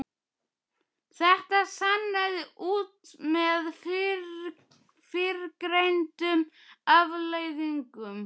Þetta sannaði hún með fyrrgreindum afleiðingum.